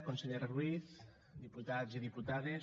consellera ruiz diputats i diputades